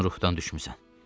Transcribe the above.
Sən ruhdan düşmüsən.